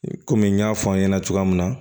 Komi n y'a fɔ aw ɲɛna cogoya min na